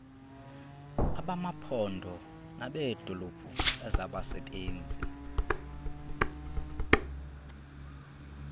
abamaphondo nabeedolophu ezabasebenzi